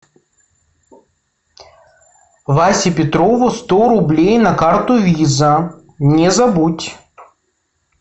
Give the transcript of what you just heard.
васе петрову сто рублей на карту виза не забудь